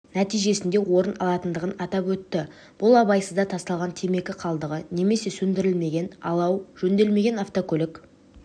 нәтижесінде орын алатындығын атап өтті бұл абайсызда тасталған темекі қалдығы немесе сөндірілмеген алау жөнделмеген автокөлік